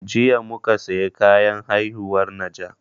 Jiya muka saya kayan haihuwar najah